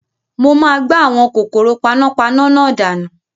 Mo máa gbá àwọn kòkòrò panápaná náà dànù